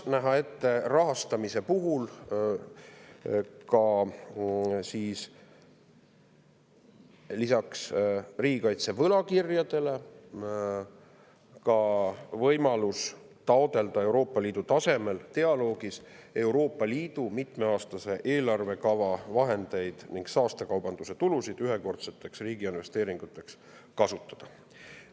Rahastamise puhul tuleks lisaks riigikaitse võlakirjadele näha ette ka võimalus taotleda Euroopa Liidu tasemel dialoogis Euroopa Liidu mitmeaastase eelarvekava vahendite ning saastekaubanduse tulude kasutamist ühekordseteks riigiinvesteeringuteks.